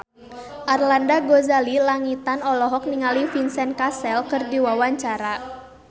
Arlanda Ghazali Langitan olohok ningali Vincent Cassel keur diwawancara